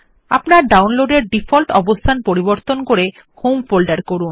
আপনার ডাউনলোডের ডিফল্ট অবস্থান পরিবর্তন করে হোম ফোল্ডার করুন